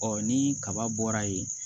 ni kaba bɔra yen